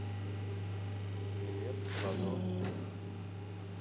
билет ладо